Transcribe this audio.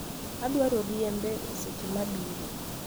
Adwaro riembo e seche mabiro